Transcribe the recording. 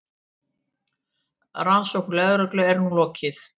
Rannsókn lögreglu er nú lokið.